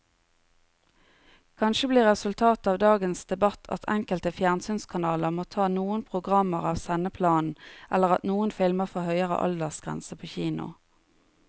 Kanskje blir resultatet av dagens debatt at enkelte fjernsynskanaler må ta noen programmer av sendeplanen eller at noen filmer får høyere aldersgrense på kino.